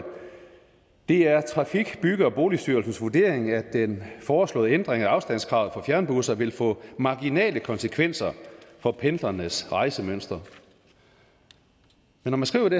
det er trafik bygge og boligstyrelsens vurdering at den foreslåede ændring af afstandskravet for fjernbusser vil få marginale konsekvenser for pendlernes rejsemønster når man skriver det